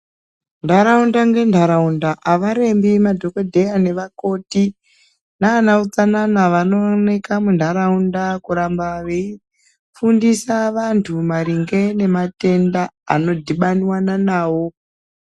Ndaraunda nendaraunda havarembi madhokodheya nevakoti nana utsanana vanooneka munharaunda kuramba veifundisa vantu maringe nematenda ano dhubaniwa nawo.